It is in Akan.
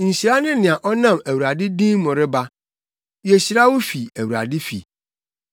Nhyira ne nea ɔnam Awurade din mu reba. Yehyira wo fi Awurade fi.